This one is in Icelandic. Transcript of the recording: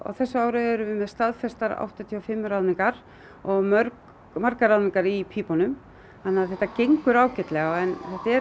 þessu ári erum við með staðfestar áttatíu og fimm ráðningar og margar ráðningar í pípunum þannig að þetta gengur ágætlega en